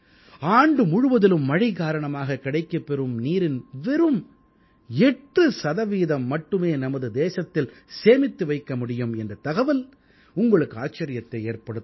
ஆண்டு முழுவதிலும் மழை காரணமாக கிடைக்கப்பெறும் நீரின் வெறும் 8 சதவீதம் மட்டுமே நமது தேசத்தில் சேமித்து வைக்க முடியும் என்ற தகவல் உங்களுக்கு ஆச்சரியத்தை ஏற்படுத்தலாம்